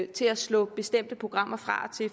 til at slå bestemte programmer fra